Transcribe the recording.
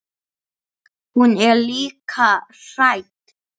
Hún er líka hrædd.